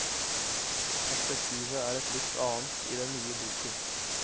Perspektivet er et litt annet i den nye boken.